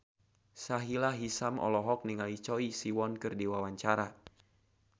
Sahila Hisyam olohok ningali Choi Siwon keur diwawancara